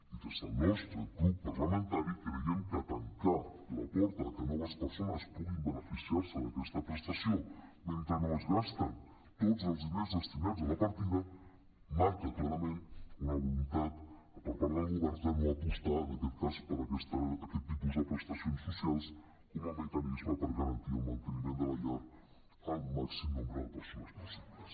i des del nostre grup parlamentari cre·iem que tancar la porta que noves persones puguin beneficiar·se d’aquesta prestació mentre no es gasten tots els diners destinats a la partida marca clarament una volun·tat per part del govern de no apostar en aquest cas per aquest tipus de prestacions socials com a mecanisme per a garantir el manteniment de la llar al màxim nombre de persones possibles